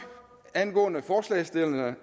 angående forslagsstillerne